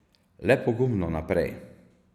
Le pogumno naprej.